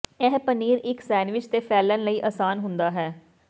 ਇਹ ਪਨੀਰ ਇੱਕ ਸੈਨਵਿਚ ਤੇ ਫੈਲਣ ਲਈ ਆਸਾਨ ਹੁੰਦਾ ਹੈ